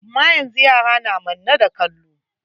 Amma yanzu yara na manne da kallo.